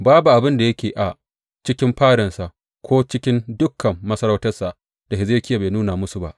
Babu abin da yake a cikin fadansa ko cikin dukan masarautarsa da Hezekiya bai nuna musu ba.